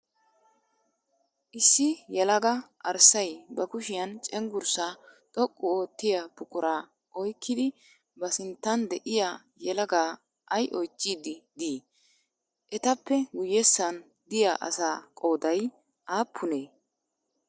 Issi yelaga arssay ba kushiyan cenggurssaa xoqqu oottiya buquraa oyikkidi ba sinttan de'iyaa yelagaa ay oyichchiiddi dii? Etappe guyyessan diya asaa qooday aappunee?